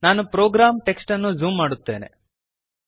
ನಾನು program text ಅನ್ನು zoom ಮಾಡುತ್ತೇನೆ